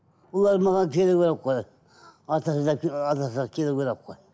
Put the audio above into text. олар маған келу керек қой келу керек қой